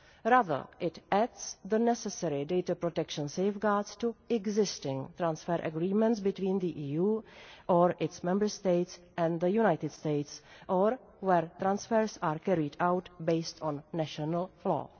Rather, it adds the necessary data protection safeguards to existing transfer agreements between the EU or its Member States and the United States or where transfers are carried out based on national law.